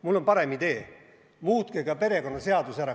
Mul on parem idee: muutke ka perekonnaseadus ära.